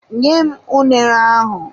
Nyem unere ahụ!